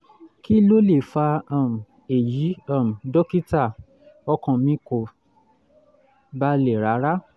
kí ló lè fa um èyí um dókítà? ọkàn mi kò balẹ̀ rárá